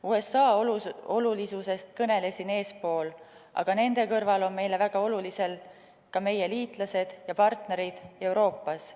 USA olulisusest kõnelesin eespool, aga nende kõrval on meile väga olulised ka meie liitlased ja partnerid Euroopas.